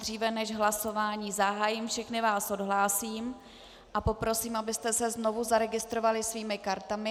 Dříve než hlasování zahájím, všechny vás odhlásím a poprosím, abyste se znovu zaregistrovali svými kartami.